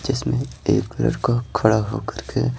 जिसमें एक लड़का खड़ा होकर के--